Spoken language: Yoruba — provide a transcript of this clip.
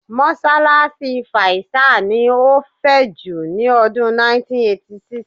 Mọ́ṣáláṣí faisal ni ó fẹ̀ jù ní ọdún 1986.